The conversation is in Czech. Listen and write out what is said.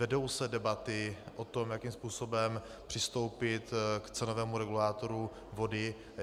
Vedou se debaty o tom, jakým způsobem přistoupit k cenovému regulátoru vody.